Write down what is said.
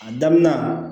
A daminɛ